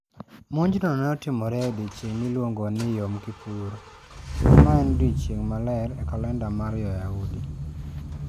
Monjno ne otimore e odiechieng' miluongo ni Yom Kippur, ma en odiechieng' maler e kalenda mar Jo-Yahudi.